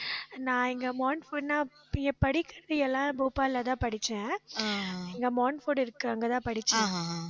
நான் இங்க மாண்ட்ஃபோர்ட்னா, இங்க படிக்கறது எல்லாம் போபால்லதான் படிச்சேன் இங்க மாண்ட்ஃபோர்ட் இருக்கு, அங்கதான் படிச்சேன்